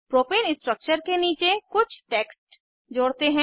propane structure के नीचे कुछ टेक्स्ट जोड़ते हैं